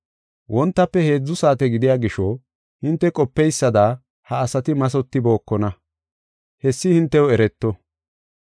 Wontafe heedzu saate gidiya gisho hinte qopeysada ha asati mathotibookona; hessi hintew ereto.